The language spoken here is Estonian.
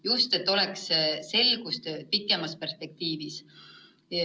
Just et oleks selgus pikemas perspektiivis.